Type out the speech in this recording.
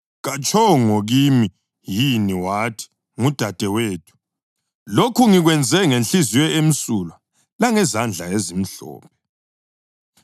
Katshongo kimi yini wathi, ‘Ngudadewethu,’ laye katshongo na wathi, ‘Ungumnewethu?’ Lokhu ngikwenze ngenhliziyo emsulwa langezandla ezimhlophe.”